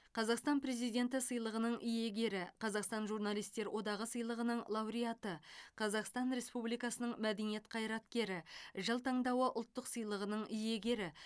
қазақстан президенті сыйлығының иегері қазақстан журналистер одағы сыйлығының лауреаты қазақстан республикасының мәдениет қайраткері жыл таңдауы ұлттық сыйлығының иегері